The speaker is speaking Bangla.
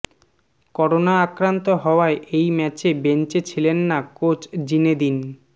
করোনা আক্রান্ত হওয়ায় এই ম্যাচে বেঞ্চে ছিলেন না কোচ জিনেদিন